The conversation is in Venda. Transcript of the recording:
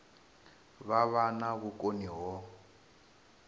vha vha na vhukoni ho